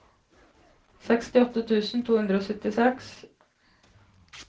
sekstiåtte tusen to hundre og syttiseks